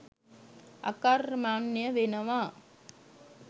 අකර්මණ්‍ය වෙනවා.